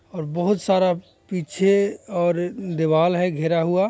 और बहोत सारा पीछे और दीवाल है घिरा हुआ --